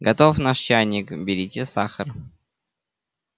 готов наш чайник берите сахар